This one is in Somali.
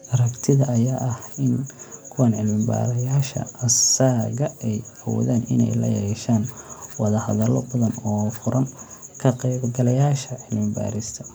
Aragtida ayaa ah in kuwan 'cilmi-baarayaasha asaaga' ay awoodaan inay la yeeshaan wada-hadallo badan oo furan ka-qaybgalayaasha cilmi-baarista.